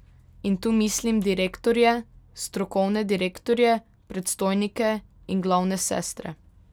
In tu mislim direktorje, strokovne direktorje, predstojnike in glavne sestre.